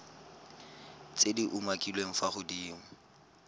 tse di umakiliweng fa godimo